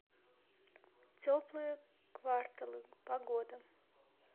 теплые кварталы погода